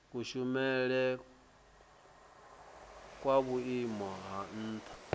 kushumele kwa vhuimo ha nha